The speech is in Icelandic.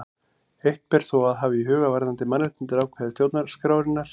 Eitt ber þó að hafa í huga varðandi mannréttindaákvæði stjórnarskrárinnar.